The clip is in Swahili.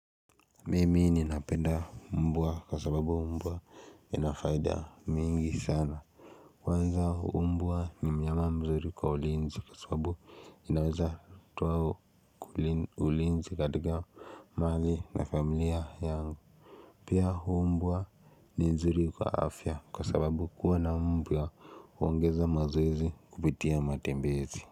Mimi ninapenda umbua kwa sababu umbua inafaida mingi sana kwanza umbua ni mnyama mzuri kwa ulinzi kwa sababu inaweza towa ulinzi katika mali na familia yangu Pia umbua ni nzuri kwa afya kwa sababu kuwa na umbua uongeza mazoezi kupitia matembezi.